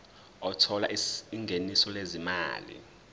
othola ingeniso lezimali